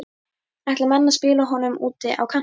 Ætla menn að spila honum úti á kanti?